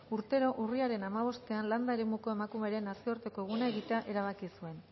urtero urriaren hamabostean landa eremuko emakumearen nazioarteko eguna egitea erabaki zuen